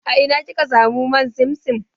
A ina kika samu man simsim?